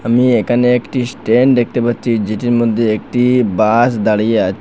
আমি এখানে একটি স্ট্যান্ড দেখতে পারছি যেটির মধ্যে একটি বাস দাঁড়িয়ে আছে।